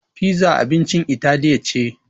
Piza abincin italiya ce.